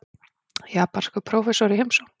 Japanskur prófessor í heimsókn.